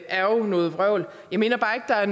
er jo noget vrøvl jeg mener bare ikke der er